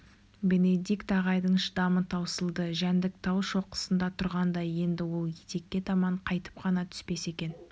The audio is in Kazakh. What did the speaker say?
бенедикт ағайдың шыдамы таусылды жәндік тау шоқысында тұрғандай енді ол етекке таман қайтіп қана түспес екен